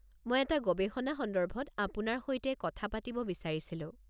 মই এটা গৱেষণা সন্দৰ্ভত আপোনাৰ সৈতে কথা পতিব বিচাৰিছিলো।